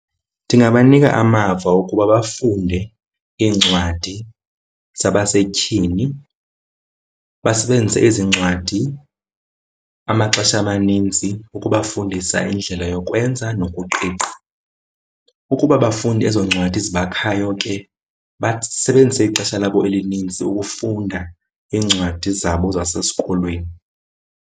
Ndingabanika amava ukuba bafunde iincwadi zabasetyhini. Basebenzise ezincwadi amaxesha amanintsi ukubafundisa indlela yokwenza nokuqiqa. Ukuba abafundi ezo ncwadi zibakhayo ke, basebenzise ixesha labo elininzi ukufunda iincwadi zabo zasesikolweni.